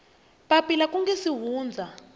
papila ku nga si hundza